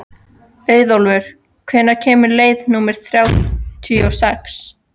Auðólfur, hvenær kemur leið númer þrjátíu og sex?